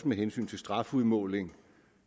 med hensyn til strafudmåling